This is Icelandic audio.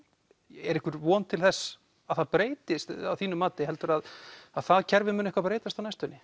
er einhver von til þess að það breytist að þínu mati heldurðu að það kerfi muni eitthvað breytast á næstunni